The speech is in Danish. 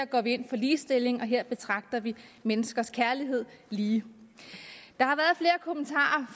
går ind for ligestilling og her betragter menneskers kærlighed lige der